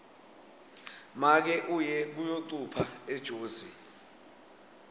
make uye kuyocupha ejozi